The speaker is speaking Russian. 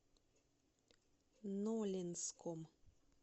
нолинском